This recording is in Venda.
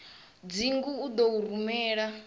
dzingu u ḓo u rumela